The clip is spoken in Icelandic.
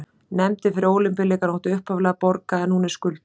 Nefndin fyrir Ólympíuleikana átti upphaflega að borga en hún er skuldug.